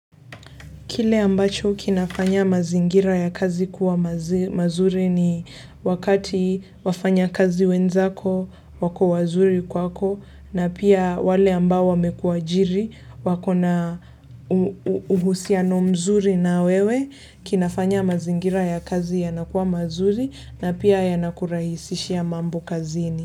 Kile ambacho kinafanya mazingira ya kazi kuwa mazuri ni wakati wafanyakazi wenzako wako wazuri kwako na pia wale ambao wamekuajiri wakona uhusiano mzuri na wewe kinafanya mazingira ya kazi yanakuwa mazuri na pia yanakurahisisha mambo kazini.